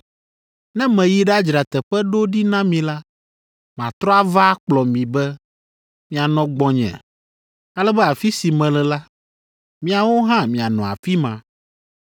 Ne meyi ɖadzra teƒe ɖo ɖi na mi la, matrɔ ava akplɔ mi be, mianɔ gbɔnye ale be afi si mele la, miawo hã mianɔ afi ma.